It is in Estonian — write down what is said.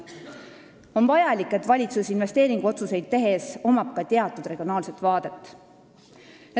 On vajalik, et valitsusel investeeringuotsuseid tehes oleks ka teatud regionaalne vaade.